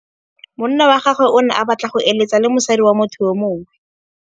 Monna wa gagwe o ne a batla go êlêtsa le mosadi wa motho yo mongwe.